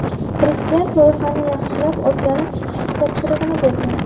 Prezident loyihani yaxshilab o‘rganib chiqish topshirig‘ini bergan.